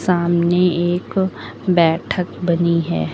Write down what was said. सामने एक बैठक बनी है।